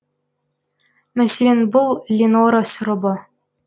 мәселен бұл ленора сұрыбы